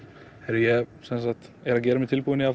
ég er að gera mig tilbúinn í að